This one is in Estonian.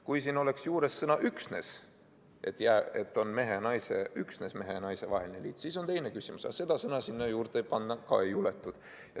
Kui siin oleks juures sõna "üksnes", et üksnes mehe ja naise vaheline liit, siis oleks teine küsimus, aga seda sõna sinna juurde panna ka ei julgetud.